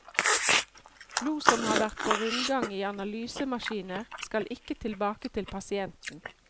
Blod som har vært på rundgang i analysemaskiner, skal ikke tilbake til pasienten.